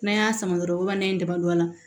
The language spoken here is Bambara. N'an y'a sama dɔrɔn a la